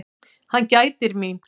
Hann gætir mín.